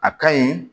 A ka ɲi